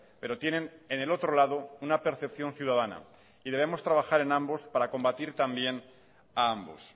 pero tienen en el otro lado una percepción ciudadana y debemos trabajar en ambos para combatir también a ambos